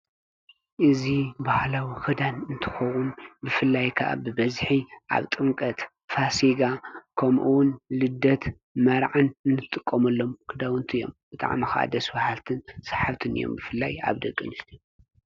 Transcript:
እዚ ባህላዊ ኽዳን እንትኸውን ብፍላይካኣ ብበዚሒ ኣብ ጥምቀት ፋሲጋ ከምኡውን ልደት መርዓን እንጥቆምሎም ክዳውንቲ እዮም በጣዕሚ ከአ ደስበሃልትን ሰሓብትን እዮም ብፍላይ ኣብ ደቂ ኣንስትዮ።